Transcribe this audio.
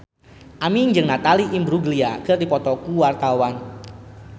Aming jeung Natalie Imbruglia keur dipoto ku wartawan